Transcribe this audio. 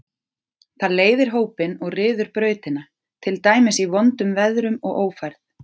Það leiðir hópinn og ryður brautina, til dæmis í vondum veðrum og ófærð.